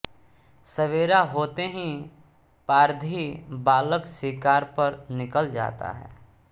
सबेरा होते ही पारधी बालक शिकार पर निकल जाता है